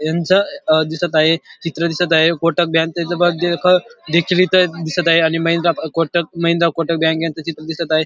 यांच दिसत आहे चित्र दिसत आहे कोटक बँक च बेचिलीत दिसत आहे आणि महेंद्रा कोटक महेंद्रा कोटक बँक च चित्र दिसत आहे.